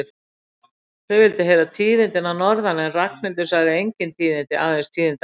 Þau vildu heyra tíðindi að norðan en Ragnhildur sagði engin tíðindi, aðeins tíðindaleysi.